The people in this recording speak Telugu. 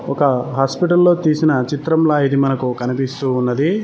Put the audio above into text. ఒక హాస్పిటల్లో చేసిన చిత్రంలో ఇది మనకు కనిపిస్తూ ఉన్నది.